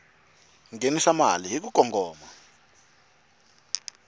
nghenisa mali hi ku kongoma